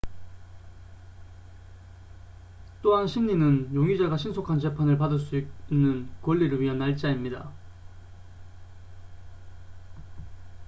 또한 심리는 용의자가 신속한 재판을 받을 수 있는 권리를 위한 날짜입니다